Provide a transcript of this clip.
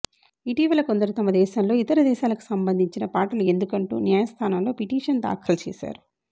ఇటీవల కొందరు తమ దేశంలో ఇతర దేశాలకు సంబంధించిన పాటలు ఎందుకంటూ న్యాయస్థానంలో ఫిటిషన్ దాఖలు చేశారు